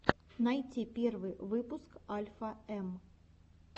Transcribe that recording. найти первый выпуск альфа эм